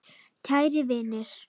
Kæru vinir!